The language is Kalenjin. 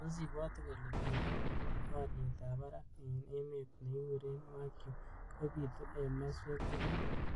Tos ibwaati kole bendo nebo aliet ab barak eng emet nekikure Wagyu kobitu eng maswek togul?